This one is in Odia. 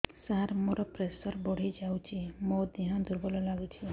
ସାର ମୋର ପ୍ରେସର ବଢ଼ିଯାଇଛି ମୋ ଦିହ ଦୁର୍ବଳ ଲାଗୁଚି